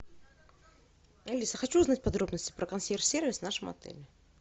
алиса хочу узнать подробности про консьерж сервис в нашем отеле